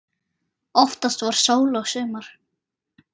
Oftast var sól og sumar.